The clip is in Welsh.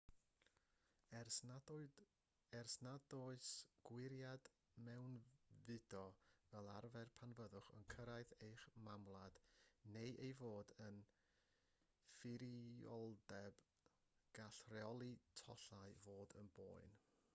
er nad oes gwiriad mewnfudo fel arfer pan fyddwch yn cyrraedd eich mamwlad neu ei fod yn ffurfioldeb gall rheoli tollau fod yn boen